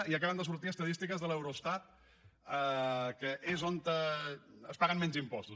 i acaben de sortir estadístiques de l’eurostat que és on es paguen menys impostos